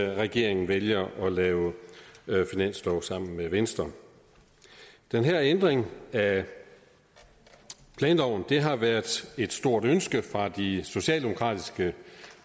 regeringen vælger at lave finanslov sammen med venstre den her ændring af planloven har været et stort ønske fra de socialdemokratiske